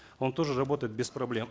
он тоже работает без проблем